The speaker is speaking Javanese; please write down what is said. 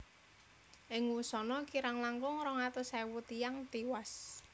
Ing wusana kirang langkung rong atus ewu tiyang tiwas